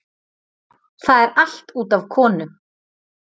Það er allt út af konu.